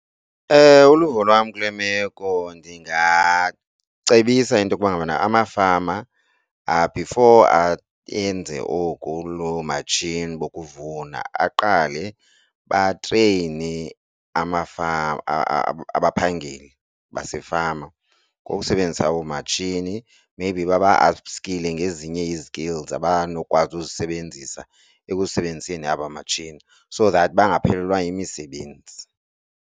Uluvo lwam kule meko ndingacebisa into yokuba ngabana amafama before ayenze oku loo matshini bokuvuna aqale batreyine amafama abaphangeli basefama ngokusebenzisa oomatshini, maybe baba-apskile ngezinye ii-skills abanokwazi uzisebenzisa ekusebenziseni aba matshini, so that bangaphelelwa yimisebenzi.